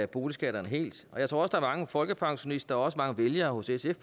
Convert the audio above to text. boligskatterne helt jeg tror er mange folkepensionister og mange vælgere hos sf